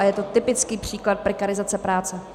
A je to typický příklad prekarizace práce.